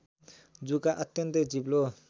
जुका अत्यन्तै चिप्लो